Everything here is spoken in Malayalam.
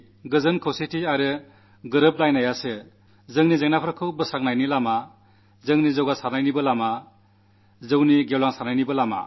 ശാന്തിയും ഐക്യവും സന്മനോഭാവവും നമ്മുടെ പ്രശ്നങ്ങൾക്കു സമാധാനത്തിന്റെ വഴിയുമാണ് നമ്മുടെ പുരോഗതിയുടെ വഴിയുമാണ് വികസനത്തിന്റെ വഴിയുമാണ് എന്നു നമുക്കെല്ലാം അറിയാം